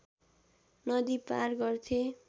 नदी पार गर्थे